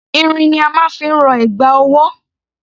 Irin ni a máa ń fi rọ ẹ̀gbà ọwọ́.